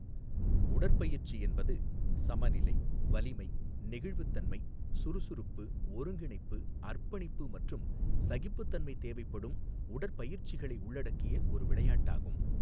உடற்பயிற்சி என்பது சமநிலை, வலிமை, நெகிழ்வுத்தன்மை, சுறுசுறுப்பு, ஒருங்கிணைப்பு, அர்ப்பணிப்பு மற்றும் சகிப்புத்தன்மை தேவைப்படும் உடற்பயிற்சிகளை உள்ளடக்கிய ஒரு விளையாட்டாகும்.